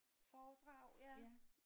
Foredrag ja